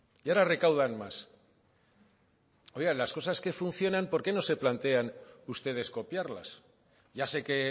y ahora recaudan más oiga las cosas que funcionan por qué no se plantean ustedes copiarlas ya sé que